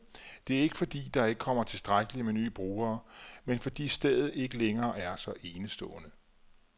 Det er ikke, fordi der ikke kommer tilstrækkeligt med nye brugere, men fordi stedet ikke længere er så enestående.